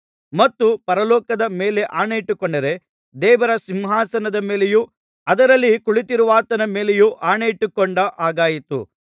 ಮತ್ತು ಪರಲೋಕದ ಮೇಲೆ ಆಣೆಯಿಟ್ಟುಕೊಂಡರೆ ದೇವರ ಸಿಂಹಾಸನದ ಮೇಲೆಯೂ ಅದರಲ್ಲಿ ಕುಳಿತಿರುವಾತನ ಮೇಲೆಯೂ ಆಣೆಯಿಟ್ಟುಕೊಂಡ ಹಾಗಾಯಿತು